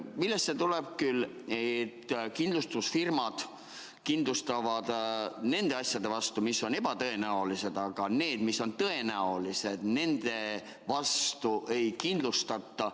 Millest see tuleb, et kindlustusfirmad kindlustavad nende asjade vastu, mis on ebatõenäolised, aga need, mis on tõenäolised, nende vastu ei kindlustata?